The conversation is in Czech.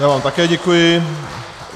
Já vám také děkuji.